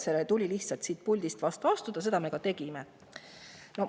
Sellele tuli siit puldist vastu astuda ja seda me ka tegime.